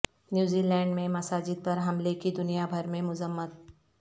New Zealand میں مساجد پر حملے کی دنیا بھر میں مذمت